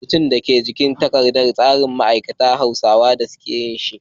Rubutun da ke jikin takardar tsarin abincin, da hausa aka yi shi.